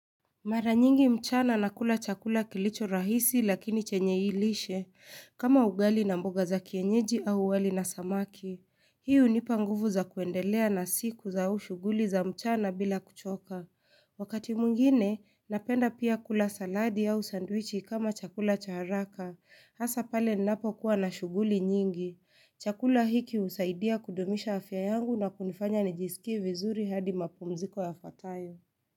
Mara nyingi mchana nakula chakula kilicho rahisi lakini chenye lishe kama ugali na mboga za kienyeji au wali na samaki. Hii hunipa nguvu za kuendelea na siku au shughuli za mchana bila kuchoka. Wakati mwingine, napenda pia kula saladi au sandwichi kama chakula cha haraka. Hasa pale ninapo kuwa na shughuli nyingi. Chakula hiki husaidia kudumisha afya yangu na kunifanya nijisikie vizuri hadi mapumziko yafuatayo.